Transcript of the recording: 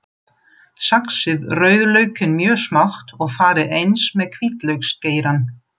Saxið rauðlaukinn mjög smátt og farið eins með hvítlauksgeirann.